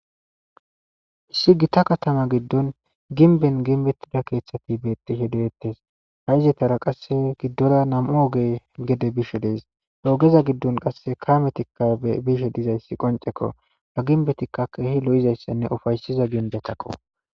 Issi gita katama giddon ginben ginbettida keeththati beettishe deettes ha izetara qasse giddora nam'u ogey gede bishe dees oogeza giddon qasse kametikka bishe dizayssi qoncekko ba ginbetikka keehi lo'izayssanne ufaysiza ginbetakko